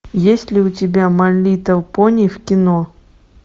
есть ли у тебя май литл пони в кино